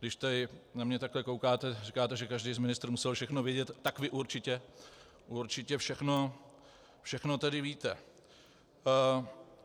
Když tady na mne takhle koukáte, říkáte, že každý z ministrů musel všechno vědět, tak vy určitě všechno tedy víte.